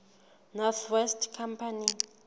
north west company